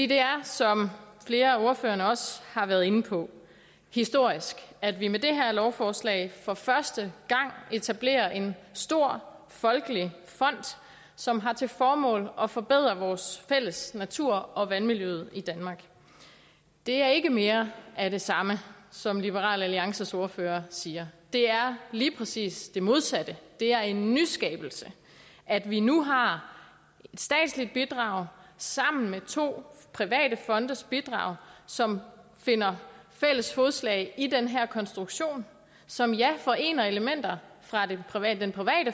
det er som flere af ordførerne også har været inde på historisk at vi med det her lovforslag for første gang etablerer en stor folkelig fond som har til formål at forbedre vores fælles natur og vandmiljøet i danmark det er ikke mere af det samme som liberal alliances ordfører siger det er lige præcis det modsatte det er en nyskabelse at vi nu har et statsligt bidrag sammen med to private fondes bidrag som finder fælles fodslag i den her konstruktion som ja forener elementer fra den private